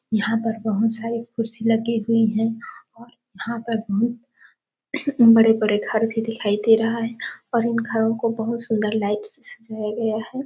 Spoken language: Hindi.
यहाँ पर बहुत सारे कुर्सी लगे हुए हैं और यहाँ पर बहुत बड़े-बड़े घर भी दिखाई दे रहा है और इन घरों को बहुत सुंदर लाइट से सजाया गया है।